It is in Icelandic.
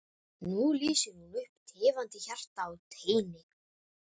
Nú lýsir hún upp tifandi hjarta á teini.